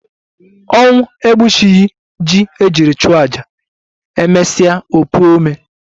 Ọnwụ egbuchughi ji ejiri chụọ aja, emesie o puo ome